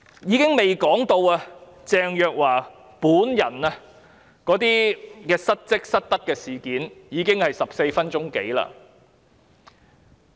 我尚未說到鄭若驊本人的失職、失德的事件，但發言時間已超過14分鐘。